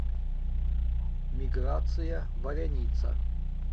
миграция валяница